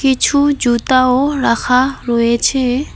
কিছু জুতাও রাখা রয়েছে।